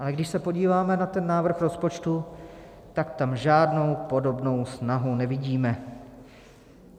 Ale když se podíváme na ten návrh rozpočtu, tak tam žádnou podobnou snahu nevidíme.